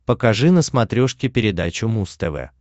покажи на смотрешке передачу муз тв